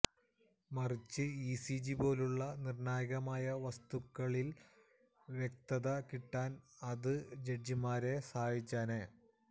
മറിച്ച് ഇസിജി പോലുള്ള നിര്ണായകമായ വസ്തുതകളില് വ്യക്തത കിട്ടാന് അത് ജഡ്ജിമാരെ സഹായിച്ചേനെ